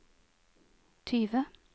tyve